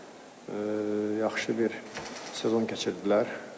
Çox yaxşı bir sezon keçirtdilər.